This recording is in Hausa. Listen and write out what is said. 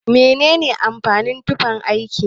Mene amfanin tufan aiki?